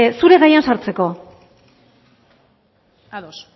zure gaian sartzeko ados